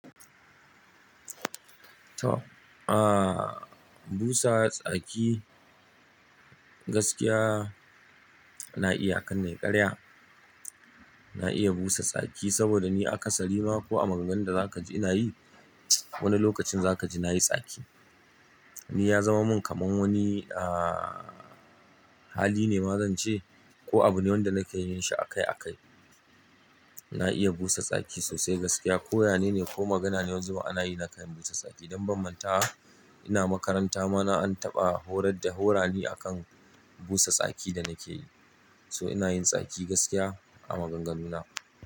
To, busa tsaki gaskiya na iya a kar nai ƙarya. Na iya busa tsaki saboda ni akasari ma ko a maganganun da zakaji inayi, wani lokacin zakaji nayi tsaki. Ni ya zama min kamar wani hali ne ma zan ce ko abu ne wanda nake yin shi a kai a kai. Na iya busa tsaki sosai gaskiya ko yane ne ko magana ne wani zubin ana yi na kan busa tsaki. Don ban mantawa, ina makaranta ma an taɓa horar da, horani akan busa tsaki da nakeyi. So ina yin tsaki gaskiya a maganganu na.